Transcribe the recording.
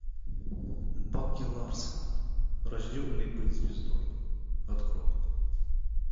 баки ларсон рожденный быть звездой открой